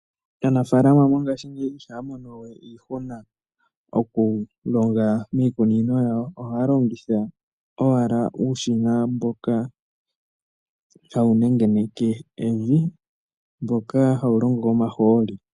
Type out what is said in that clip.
Aanafalama mongashingeyi ihaya mono we iihuna okulonga miikunino yawo . Ohaya longitha ashihe uushina mboka hawu nengeneke evi nohawu longo komahooli.